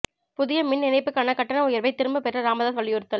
புதிய மின் இணைப்புக்கான கட்டண உயர்வை திரும்ப பெற ராமதாஸ் வலியுறுத்தல்